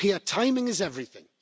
Timing is everything.